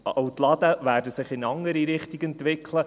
Die Läden werden sich in eine andere Richtung entwickeln.